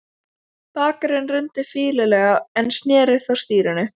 Braskarinn rumdi fýlulega en sneri þó stýrinu.